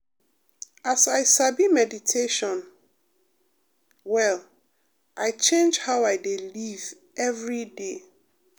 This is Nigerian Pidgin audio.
as i sabi meditation um well i change how i dey live every day.